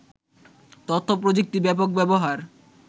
তথ্য-প্রযুক্তির ব্যাপক ব্যবহার